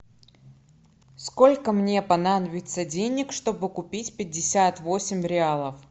сколько мне понадобится денег чтобы купить пятьдесят восемь реалов